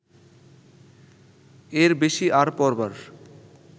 এর বেশি আর পড়বার